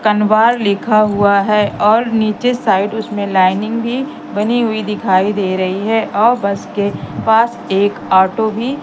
कंबार लिखा हुआ है और नीचे साइड उसमे लाइनिंग भी बनी हुई दिखाई दे रही है और बस के पास एक ऑटो भी --